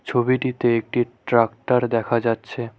ছবিটিতে একটা ট্র্যাক্টর দেখা যাচ্ছে।